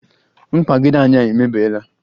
mkpagide anyị emebiela